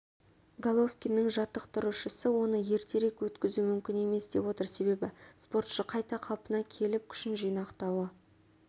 головкиннің жаттықтырушысы оны ертерек өткізу мүмкін емес деп отыр себебі спортшы қайта қалпына келіп күшін жинақтауы